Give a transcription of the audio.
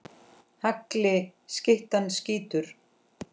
Hagli skyttan skýtur.